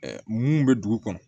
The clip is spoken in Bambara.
mun bɛ dugu kɔnɔ